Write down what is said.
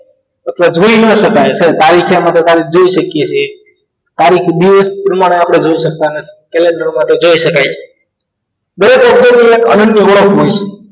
અથવા જોઈ ન શકાય તારીખે માં જોઈ શકીએ છીએ તારીખ દિવસ જોઈ શકતા નથી કેલેન્ડરમાં જોઈ શકાય છે